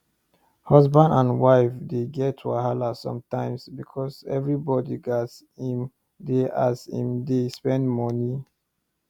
husband and wife dey get wahala sometimes because everybody get as im dey as im dey spend money